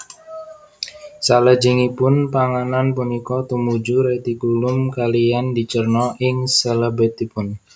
Salajengipun panganan punika tumuju retikulum kaliyan dicerna ing selebetipun